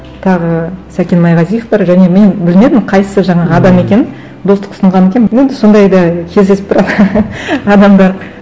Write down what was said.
тағы сәкен майғазиев бар және мен білмедім қайсысы жаңағы адам екенін достық ұсынған екен енді сондай да кездесіп тұрады адамдар